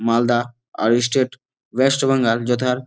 মালদা আর ই state West Bengal যথার--